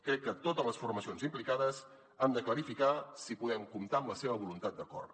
crec que totes les formacions implicades han de clarificar si podem comptar amb la seva voluntat d’acord